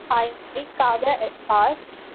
Speaker 1 hi, Kavya S R.